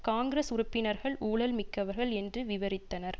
காங்கிரஸ் உறுப்பினர்கள் ஊழல் மிக்கவர்கள் என்று விவரித்தனர்